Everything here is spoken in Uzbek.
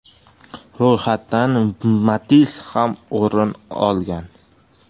Ro‘yxatdan Matiz ham o‘rin olgan.